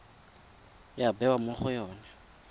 ya bewa mo go yone